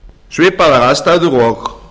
svipaðar aðstæður og